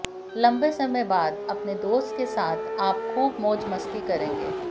लंबे समय बाद अपने दोस्त के साथ आप खूब मौज मस्ती करेंगे